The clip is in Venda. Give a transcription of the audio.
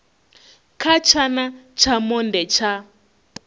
kha tshana tsha monde tsha